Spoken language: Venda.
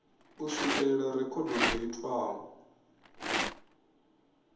u swikelela rekhodo dzo itiwaho